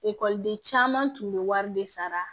Ekɔliden caman tun bɛ wari de sara